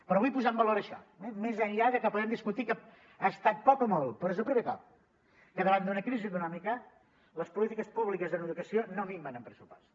però vull posar en valor això eh més enllà de que podem discutir que ha estat poc o molt però és el primer cop que davant d’una crisi econòmica les polítiques públiques en educació no minven en pressupost